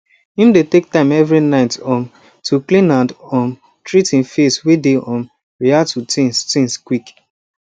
him dey take time every night um to clean and um treat him face way dey um react to things things quick